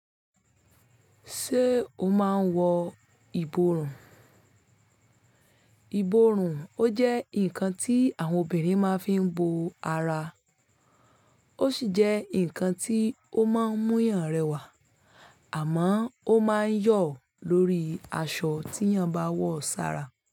Ṣé o máa ń wọ ìborùn? Ìborùn ó jẹ́ ǹnkan tí àwọn obìnrin máa ń fi bo ara, ó sì jẹ́ ǹnkan tí ó máa ń mú eeyàn rẹwà àmọ́ ó máa ń yọ̀ lórí aṣọ tí eeyàn bá wọ sára.